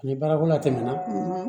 Ni baara ko la tɛmɛna